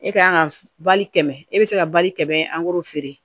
E ka kan ka bali kɛmɛ e be se ka bali kɛmɛ angɛrɛ feere